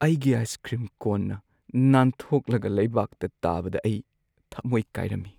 ꯑꯩꯒꯤ ice cream ꯀꯣꯟꯅ ꯅꯥꯟꯊꯣꯛꯂꯒ ꯂꯩꯕꯥꯛꯇ ꯇꯥꯕꯗ ꯑꯩ ꯊꯃꯣꯏ ꯀꯥꯏꯔꯝꯃꯤ ꯫